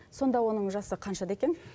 сонда оның жасы қаншада екен